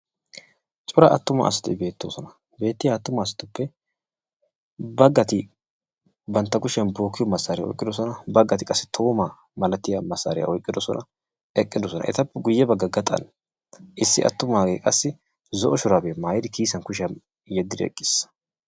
Daro asatti beettiyattuppe bagatti bantta bookkiyo buqura oyqqidosonna bagatti qassi duruma malattiya miishsha oyqqidosonna.